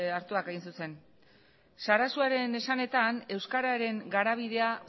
hartuak hain zuzen sarasuaren esanetan euskararen garabidea